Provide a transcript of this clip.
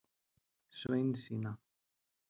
Sveinsína